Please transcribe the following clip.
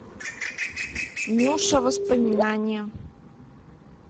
нюша воспоминание